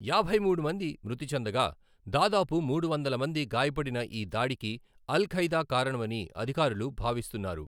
యాభైమూడు మంది మృతి చెందగా, దాదాపు మూడు వందలు మంది గాయపడిన ఈ దాడికి అల్ ఖైదా కారణమని అధికారులు భావిస్తున్నారు.